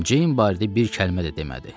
Jane barədə bir kəlmə də demədi.